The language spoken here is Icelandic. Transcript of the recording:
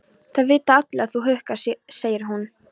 Það vita allir að þú húkkar, segir hún.